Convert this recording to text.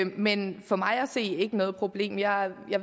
men for mig at se ikke noget problem jeg